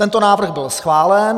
Tento návrh byl schválen.